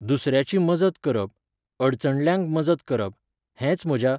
दुसऱ्यांची मजत करप, अडचणल्ल्यांक मजत करप, हेंच म्हज्या